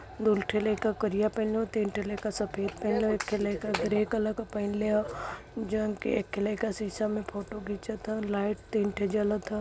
दो ठे लाइका करिया पहीनले ह तीन ठे लाईका सफेद पहीनले ह एक ठे लईका ग्रे कलर क पहीनले ह। जौन के एक ठे शीशा में फोटो घिचत ह लाईट तीन ठे जलत ह।